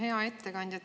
Hea ettekandja!